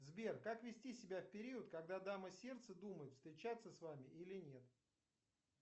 сбер как вести себя в период когда дама сердца думает встречаться с вами или нет